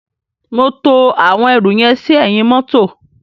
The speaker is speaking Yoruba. Mo to àwọn ẹrù yẹn sí ẹ̀yìn mọ́tọ̀.